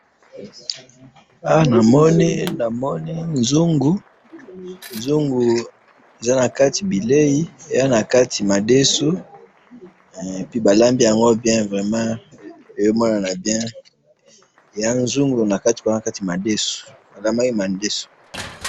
awa namoni namoni nzungu nzungu eza nakati bileyi eza nakati madesu hein epuis balambi yango bien eya nzungu balambi nakati madesu balambi nakati madesu.